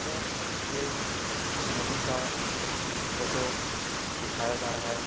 यह एक नदी का फ़ोटो दिखाया जा रहा है।